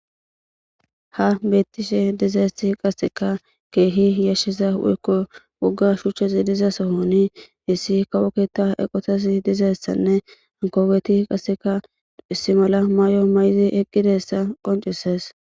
Ha beettishe dizeesi qasseka keehi yashshiza uekko woga shuchche ziidiza sohoni hissi kawoketa eqotesi dizeessanne ankoweti qaseka issi mala maay7o may7zi eqqidessa qoncisees.